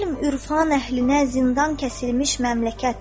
Elm, ürfan əhlinə zindan kəsilmiş məmləkət.